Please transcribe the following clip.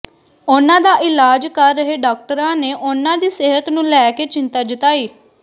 ਉਨ੍ਹਾਂ ਦਾ ਇਲਾਜ਼ ਕਰ ਰਹੇ ਡਾਕਟਰਾਂ ਨੇ ਉਨ੍ਹਾਂ ਦੀ ਸਿਹਤ ਨੂੰ ਲੈ ਕੇ ਚਿੰਤਾ ਜਤਾਈ